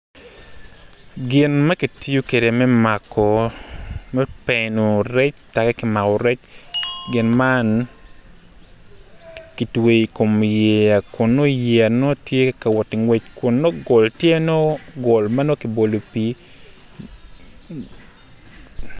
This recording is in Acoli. Gin ma kitiyu kede me mako peeno rec taki ki mako rec gin man kitweyo i kom yeya kun nongo yeya tye ka woti ngwec kun nongo gol tye nongo ki boli i pii